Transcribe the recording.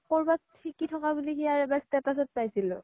কৰবাত সিকি থাকা বুলি সিয়াৰ এবাৰ status ত পাইছিলো